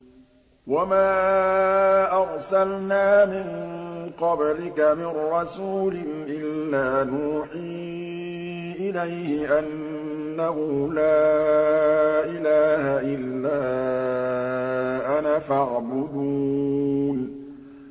وَمَا أَرْسَلْنَا مِن قَبْلِكَ مِن رَّسُولٍ إِلَّا نُوحِي إِلَيْهِ أَنَّهُ لَا إِلَٰهَ إِلَّا أَنَا فَاعْبُدُونِ